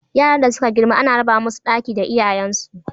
Yaran da suka girma ana raba musu ɗaki da iyayen su.